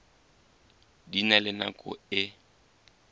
di na le nako e